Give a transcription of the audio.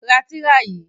Ra tìrà yìí!